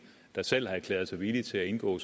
der selv har erklæret sig villig til at indgå